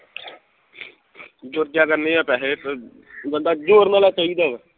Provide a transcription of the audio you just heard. ਜੁੜ ਜਾ ਕਰਨੇ ਆ ਪੈਹੇ ਅਹ ਬੰਦਾ ਜੋੜਨ ਵਾਲਾ ਚਾਹੀਦਾ